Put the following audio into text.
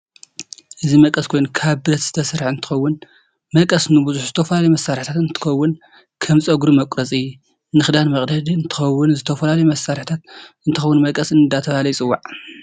እዚ መቀስ ኮይኑ ካብ ብረት ዝተሰርሐ እንትትከውን መቀስ ንብዝሕ ዝተፈላላዩ መስርሕታት እንትከውን ከም ፀግሪ መቁረፂ፣ ንክዳን መቅደዲ እንትከውን ንዝተፈላለዩ መስርሕ እንትከውን መቀስ እዳተበሃለ ይፅዋዕ።